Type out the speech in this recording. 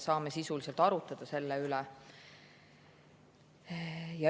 Saame sisuliselt arutada selle üle.